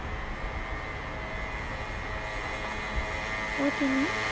ও তিনি